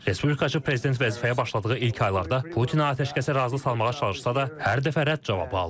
Respublikaçı prezident vəzifəyə başladığı ilk aylarda Putini atəşkəsə razı salmağa çalışsa da, hər dəfə rədd cavabı alıb.